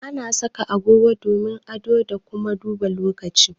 Ana saka agogon hannu domin ado da kuma duba lokaci